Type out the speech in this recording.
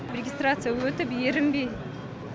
регистрация өтіп ерінбей